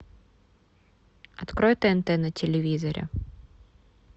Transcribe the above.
открой тнт на телевизоре